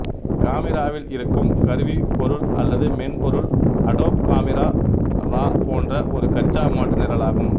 காமிராவில் இருக்கும் கருவிப் பொருள் அல்லது மென் பொருள் அடோப் காமிரா ரா போன்ற ஒரு கச்சா மாற்று நிரலாகும்